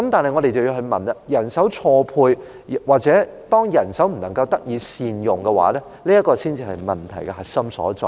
但是，我覺得人手錯配或人手不能夠得以善用，這才是問題的核心所在。